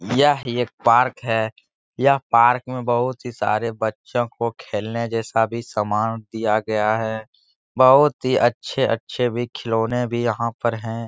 यह एक पार्क है। यह पार्क में बोहत ही सारे बच्चो को खेलने जैसा भी समान दिया गया है बोहत ही अच्छे-अच्छे भी खिलौने भी यहाँ पर हैं।